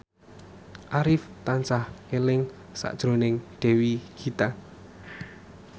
Arif tansah eling sakjroning Dewi Gita